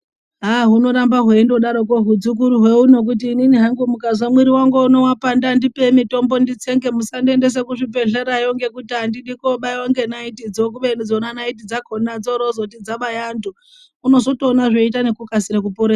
Hunorambe hweindodaroko huzukuru ho kuti inini hangu ndikazwa muwiri wangu wapanda ndipei uno mitombo nditsenge .Musandiendi endese kuzvibhehlera yo ngekuti andidi kubaiwa ngenaiti dzo .Kubeni dzona naiti dzakona dzoroti dzabaya antu unozotoona zveita nekukasira kupora.